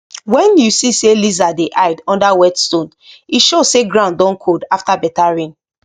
when you see say lizard dey hide under wet stone e show say ground don cold after better rain